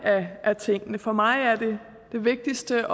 af tingene for mig er det vigtigste